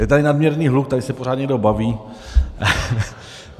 Je tady nadměrný hluk, tady se pořád někdo baví.